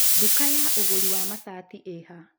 ndũka ya ũgũri wa macati ĩha